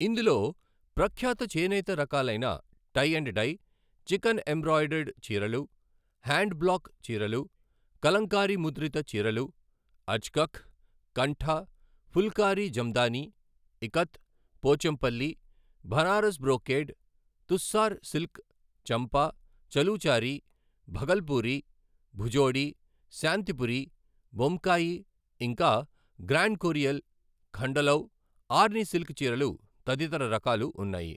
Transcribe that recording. ఇందులో ప్రఖ్యాత చేనేత రకాలైన టై అండ్ డై, చికన్ఎంబ్రాయిడర్డ్ చీరలు, హ్యాండ్ బ్లాక్ చీరలు, కలంకారీ ముద్రిత చీరలు, అజ్కఖ్, కంఠ, ఫుల్కారీ జమదాని, ఇకత్, పోచంపల్లి, భనారస్బ్రోకేడ్, తుస్సార్ సిల్క్ చంపా, చలూచారి, భగల్పూరి, భుజోడి, శాంతిపురి, బొమ్కాయి, ఇంకా గ్రాండ్కొరియాల్, ఖండలౌ, ఆర్ని సిల్క్ చీరలు తదితర రకాలు ఉన్నాయి.